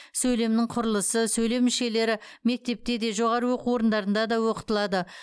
сөйлемнің құрылысы сөйлем мүшелері мектепте де жоғары оқу орындарында да оқытылады